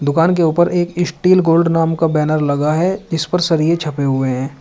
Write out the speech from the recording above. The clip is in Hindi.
दुकान के ऊपर एक स्टील गोल्ड नाम का बैनर लगा है इस पर सरिये छपे हुए हैं।